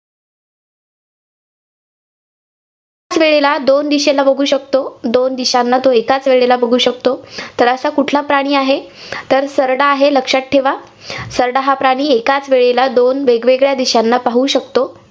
वेळेला दोन दिशेला बघू शकतो. दोन दिशांना तो एकाच वेळेला बघू शकतो. तर असा कुठला प्राणी आहे? तर सरडा आहे, लक्षात ठेवा. सरडा हा प्राणी एकाच वेळेला दोन वेगवेगळ्या दिशांना पाहू शकतो.